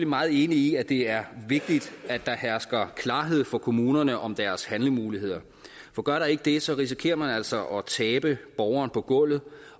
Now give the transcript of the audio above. meget enig i at det er vigtigt at der hersker klarhed for kommunerne om deres handlemuligheder for gør der ikke det så risikerer man altså at tabe borgeren på gulvet